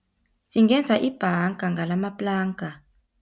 Singenza ibhanga ngalamaplanka.